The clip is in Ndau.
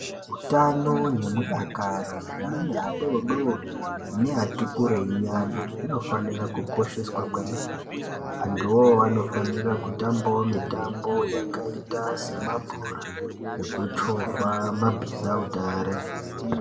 Utano nemudakaro zveana adoodori neati kureinyana zvinofanira kukosheswa kwemene. Antuwoo anofanira kutambawo mitambo yakaita semabhora nekuchovha mabhizautare.